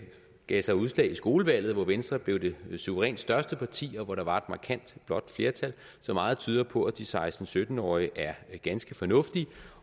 gav sig udslag i skolevalget hvor venstre blev det suverænt største parti og hvor der var et markant blåt flertal så meget tyder på at de seksten til sytten årige er ganske fornuftige